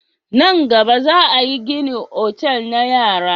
Nan gaba, za a gina otali na yara.